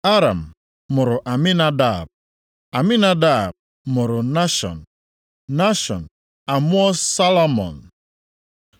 Aram mụrụ Aminadab, Aminadab mụrụ Nashọn, Nashọn amụọ Salmọn.